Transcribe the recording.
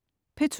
P2: